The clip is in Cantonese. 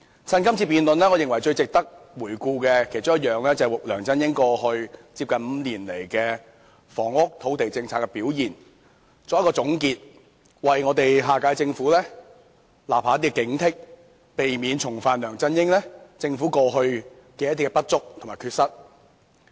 我認為，最值得趁着這次辯論回顧的其中一件事，便是為梁振英在過去5年的房屋、土地政策的表現作總結，為下屆政府立下警惕，避免重犯梁振英政府以往的不足和缺失。